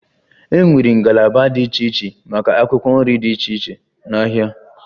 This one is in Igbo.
E nwere ngalaba dị iche iche maka akwụkwọ nri dị iche iche n'ahịa.